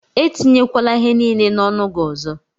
Etinyekwala ihe niile n'ọnụ gị ọzọ!